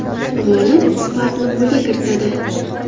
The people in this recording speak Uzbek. G‘olib Spark’ni qo‘lga kiritadi.